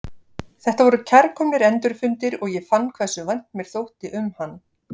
Þetta voru kærkomnir endurfundir og ég fann hversu vænt mér þótti um hann.